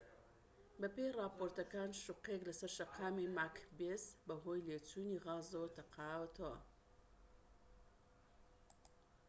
بەپێی ڕاپۆرتەکان شوقەیەك لەسەر شەقامی ماکبێس بەهۆی لێچوونی غازەوە تەقاوەتەوە